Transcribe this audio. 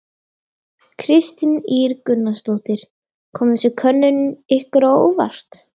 Kristín Ýr Gunnarsdóttir: Kom þessi könnun ykkur á óvart?